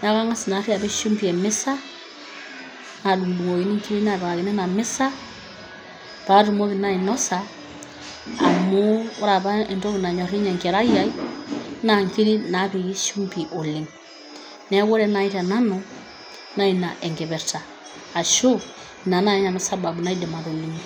Neeku ang'as naari apik shimbi e mesa nadung'dung'okini nkiri napikakini ina mesa paatumoki naa ainosa amu ore apa entoki nayor ninye enkerai ai naa nkiri naapiki shimbi oleng'. Neeku ore nai te nanu naa ina enkipirta ashu ina nai nanu sababu naidim atolimu.